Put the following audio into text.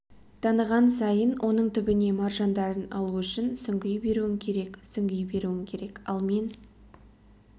таныған сайын оның түбіне маржандарын алу үшін сүңги беруің керек сүңги беруің керек ал мен